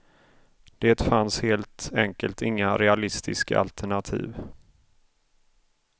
Det fanns helt enkelt inga realistiska alternativ.